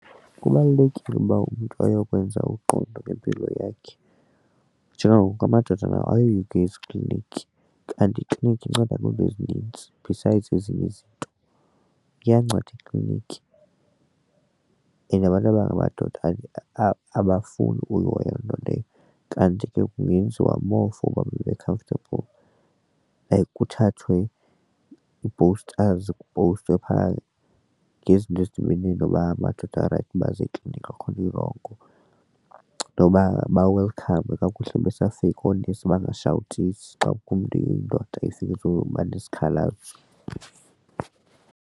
Kubalulekile uba umntu ayokwenza uqondo lwempilo yakhe njengangoku amadoda nawo ayoyika kuya eziklinikhi, kanti iklinikhi inceda kwizinto ezinintsi besides ezinye izinto. Kuyanceda ekliniki and abantu abangamadoda abafuni uyihoya loo nto leyo kanti ke kungenziwa more for uba babe comfortable like kuthathwe ii-posters kupowustwe phaa ngezinto ezidibene noba amadoda barayithi baze ekliniki, akukho nto irongo noba ba-welcome kakuhle besafika oonesi bangashawutisi xa kukho umntu indoda efika ezoba nesikhalazo.